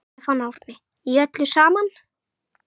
Stefán Árni: Í öllu saman?